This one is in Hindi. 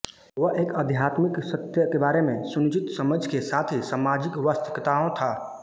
वह एक आध्यात्मिक सत्य के बारे में सुनिश्चित समझ के साथ ही सामाजिक वास्तविकताओं था